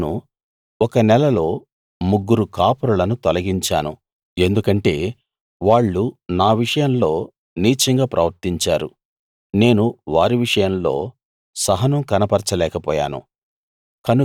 నేను ఒక నెలలో ముగ్గురు కాపరులను తొలగించాను ఎందుకంటే వాళ్ళు నా విషయంలో నీచంగా ప్రవర్తించారు నేను వారి విషయంలో సహనం కనపరచ లేకపోయాను